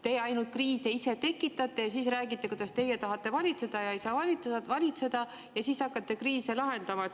Teie ise ainult kriise tekitate ja siis räägite, kuidas teie tahate valitseda ja ei saa valitseda ja siis hakkate kriise lahendama.